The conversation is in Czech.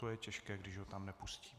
To je těžké, když ho tam nepustí.